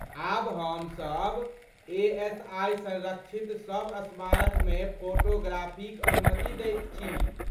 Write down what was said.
आब हम सब ए.एस.आइ. संरक्षित सब स्मारकमे फोटोग्राफीक अनुमति दैत छी।